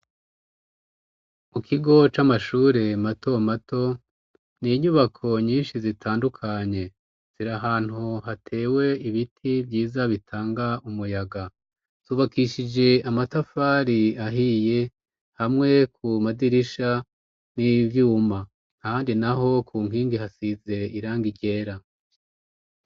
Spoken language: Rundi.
Mu kigo c'amashure mato mato ni inyubako nyinshi zitandukanye ziri ahantu hatewe ibiti vyiza bitanga umuyaga subakishije amatafari ahiye hamwe ku madirisha n'ivyuma handi na ho kunkingi hasize iranga igera.